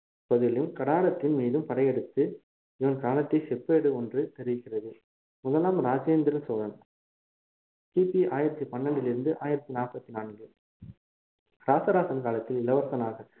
பகுதியிலும் கடாரத்தின் மீதும் படையெடுத்து இவன் காலத்திய செப்பேடு ஒன்று தெரிவிக்கிறது முதலாம் ராஜேந்திர சோழன் கிபி ஆயிரத்தி பண்ணிரெண்டில் இருந்து ஆயிரத்தி நாற்பத்தி நான்கு ராசராசன் காலத்தில் இளவரசனாக